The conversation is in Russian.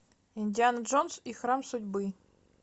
индиана джонс и храм судьбы